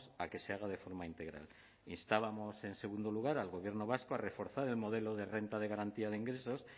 a que se haga de forma integral instábamos en segundo lugar al gobierno vasco a reforzar el modelo de renta de garantía de ingresos